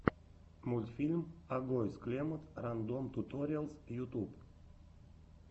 мультфильм агоез клемод рандом туториалс ютуб